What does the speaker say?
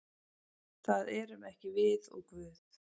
Það erum ekki við og Guð.